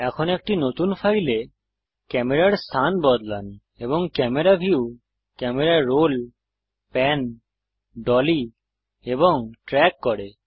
এখন একটি নতুন ফাইলে ক্যামেরার স্থান বদলান এবং camera view camera roll pan dolly এবং ট্রেক করে